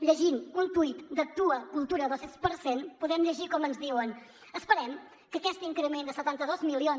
llegint un tuit d’actua cultura dos per cent podem llegir com ens diuen esperem que aquest increment dels setanta dos milions